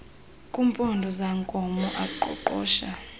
kumpondo zankomo aqoqosha